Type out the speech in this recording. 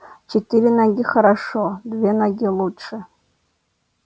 четыре ноги хорошо две ноги лучше